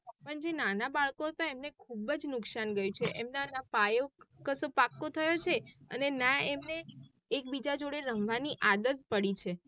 પણ જે નાના બાળકો હતા એમને ખુબજ નુકસાન ગઈ છે એમના ના પાયો કસ પાકો થયો છે અને ના એમને એક બીજા જોડે રમવાં આદત પડી છે